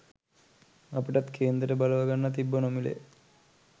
අපිටත් කේන්දර බලව ගන්න තිබ්බ නොමිලේ